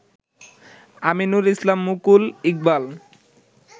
Aminur Islam Mukul, Iqbal